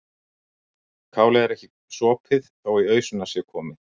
Kálið er ekki sopið þó í ausuna sé komið.